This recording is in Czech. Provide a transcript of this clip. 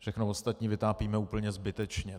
Všechno ostatní vytápíme úplně zbytečně.